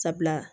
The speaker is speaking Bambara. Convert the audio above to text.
Sabula